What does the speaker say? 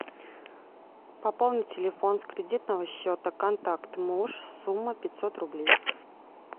пополнить телефон с кредитного счета контакт муж сумма пятьсот рублей